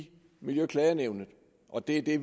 miljøklagenævnet og det er det